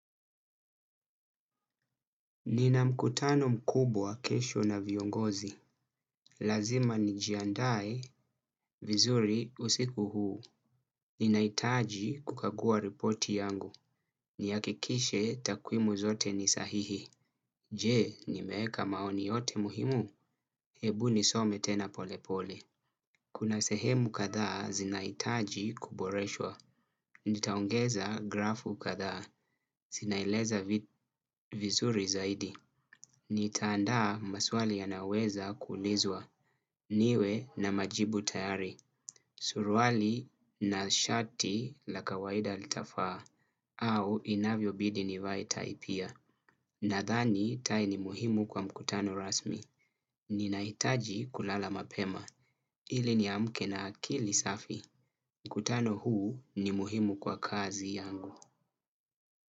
Nina mkutano mkubwa kesho na viongozi. Lazima nijiandae vizuri usiku huu. Ninaitaji kukagua reporti yangu. Niakikishe takwimu zote ni sahihi. Je, nimeeka maoni yote muhimu. Hebu nisome tena polepole. Kuna sehemu kadhaa zinaitaji kuboreshwa. Nitaongeza grafu kadhaa. Zinaeleza vizuri zaidi. Nitaandaa maswali yanaweza kuulizwa niwe na majibu tayari, surwali na shati la kawaida litafaa au inavyobidi nivae tai pia. Nadhani tai ni muhimu kwa mkutano rasmi. Ninahitaji kulala mapema. Ili niamke na akili safi. Mkutano huu ni muhimu kwa kazi yangu.